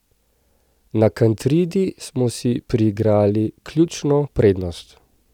Na Kantridi smo si priigrali ključno prednost.